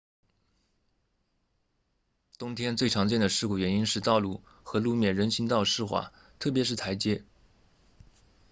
冬天最常见的事故原因是道路和路面人行道湿滑特别是台阶